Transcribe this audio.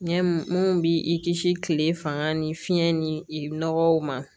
Ɲɛmu mun bi i kisi kile fanga ni fiɲɛ ni nɔgɔw ma